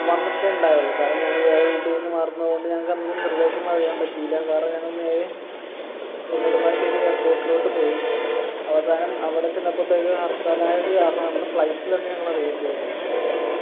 വന്നിട്ടുണ്ടായിരുന്നു കാരണം ഞങ്ങള് വേറെ വീട്ടിന്നു മാറുന്നത് കൊണ്ട് ഞങ്ങൾക്കന്ന് നിര്‍ദേശങ്ങൾ അറിയാൻ പറ്റിയില്ല കാരണം ഞങ്ങൾ നേരെ ഏർ നെടുമ്പാശേരി airport ലോട്ട് പോയി അവസാനം അവിടെ ചെന്നപ്പോത്തേക്കും ഹർത്താലായതു കാരണം അന്ന് flight ൽ അന്ന് ഞങ്ങള് വന്നു